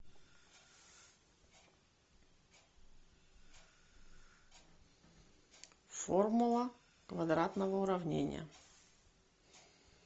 формула квадратного уравнения